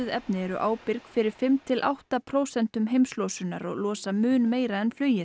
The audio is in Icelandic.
efni eru ábyrg fyrir fimm til átta prósent heimslosunar og losa mun meira en flugið